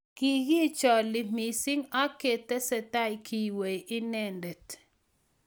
Kikicholie mising ak ketestai keiwei inendet